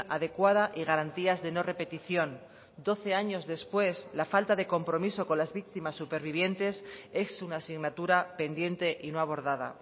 adecuada y garantías de no repetición doce años después la falta de compromiso con las víctimas supervivientes es una asignatura pendiente y no abordada